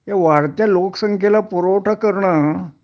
ह्या वाढत्या लोकसंख्येला पुरवठा करणं